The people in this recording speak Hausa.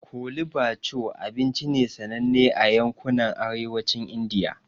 Chole bhature abinci ne sananne a yankunan Arewacin Indiya.